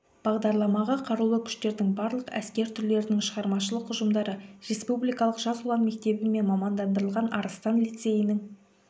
бағдарламаға қарулы күштердің барлық әскер түрлерінің шығармашылық ұжымдары республикалық жас ұлан мектебі мен мамандандырылған арыстан лицейінің